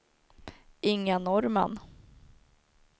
Inga Norrman